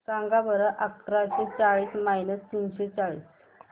सांगा बरं अकराशे चाळीस मायनस तीनशे चाळीस